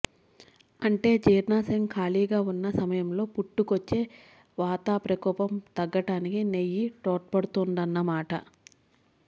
అంటే జీర్ణాశయం ఖాళీగా ఉన్న సమయంలో పుట్టుకొచ్చే వాత ప్రకోపం తగ్గటానికి నెయ్యి తోడ్పడుతుందన్నమాట